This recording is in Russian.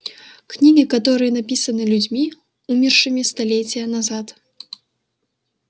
книги которые написаны людьми умершими столетия назад